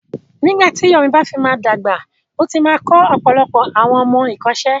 Nígbà tí Yomi bá fi máa dàgbà, ó ti máa kọ́ ọ̀pọ̀lọpọ̀ àwọn ọmọ ẹ̀kọ́ṣẹ́.